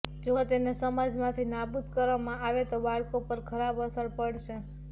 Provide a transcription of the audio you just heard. જો તેને સમાજમાંથી નાબૂદ કરવામાં આવે તો બાળકો પર ખરાબ અસર પડશે